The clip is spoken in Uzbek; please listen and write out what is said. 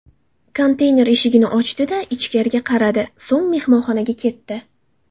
Konteyner eshigini ochdi-da, ichkariga qaradi, so‘ng mehmonxonaga ketdi.